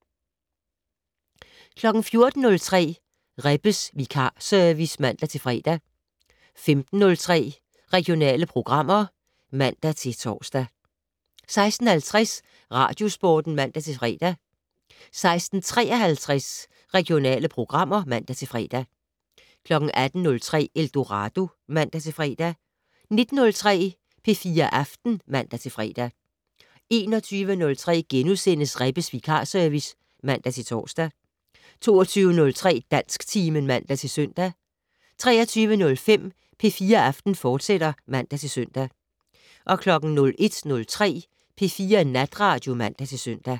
14:03: Rebbes vikarservice (man-fre) 15:03: Regionale programmer (man-tor) 16:50: Radiosporten (man-fre) 16:53: Regionale programmer (man-fre) 18:03: Eldorado (man-fre) 19:03: P4 Aften (man-fre) 21:03: Rebbes vikarservice *(man-tor) 22:03: Dansktimen (man-søn) 23:05: P4 Aften, fortsat (man-søn) 01:03: P4 Natradio (man-søn)